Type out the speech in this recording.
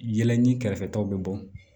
Yɛlɛ ni kɛrɛfɛ taw bɛ bɔ